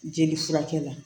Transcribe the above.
Jeli furakɛ